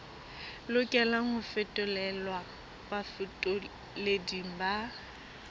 lokelang ho fetolelwa bafetoleding ba